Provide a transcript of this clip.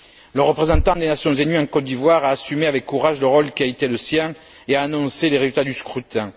Le représentant des Nations unies en Côte d'Ivoire a assumé avec courage le rôle qui a été le sien et a annoncé les résultats du scrutin.